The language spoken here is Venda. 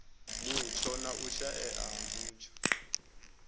mutsho na u shaea ha